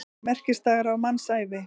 Merkisdagar á mannsævinni.